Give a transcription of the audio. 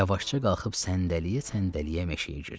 Yavaşca qalxıb səndələyə-səndələyə meşəyə girdi